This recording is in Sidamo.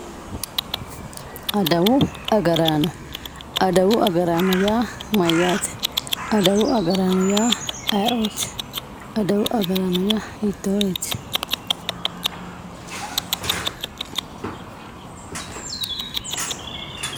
Adawu agarano adawu agarano ya mayate adawu agrani ya aioti adawu agarano ya hitoreti